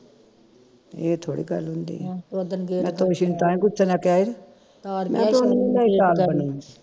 ਇਹ ਥੋੜੀ ਗੱਲ ਹੁੰਦੀ ਆ ਮੈਂ ਤੋਸ਼ੀ ਨੂੰ ਤਾਂ ਹੀ ਗੁੱਸੇ ਨਾਲ ਕਿਹਾ ਮੈਂ ਉਹਨੂੰ